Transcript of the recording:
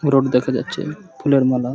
পুরক দেখা যাচ্ছে ফুলের মালা।